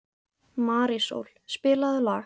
Marísól, spilaðu lag.